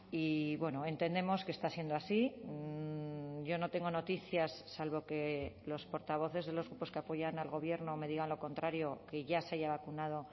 y bueno entendemos que está siendo así yo no tengo noticias salvo que los portavoces de los grupos que apoyan al gobierno me digan lo contrario que ya se haya vacunado